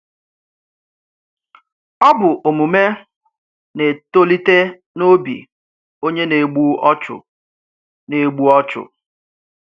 Ọ bụ̀ òmùmè na-ètòlítè n’òbì ònyé na-égbù ọ̀chụ̀. na-égbù ọ̀chụ̀.